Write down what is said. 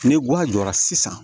Ni guwan jɔra sisan